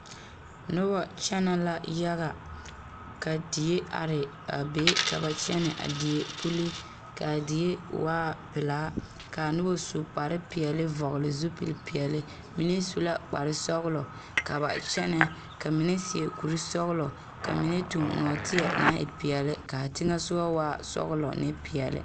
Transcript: Noba kyɛnɛ la yaga ka die are a be ka ba kyɛnɛ a die puli kaa die waa pelaa Nona su kpar peɛle vɔgele zupili peɛle mine su la kpar sɔgelɔ ka ka kyɛnɛ ka mine seɛ kuri sɔgelɔ ka mine tuŋ nɔɔte naŋ e peɛle kaa teŋa soɔ waa sɔgelɔ ne peɛle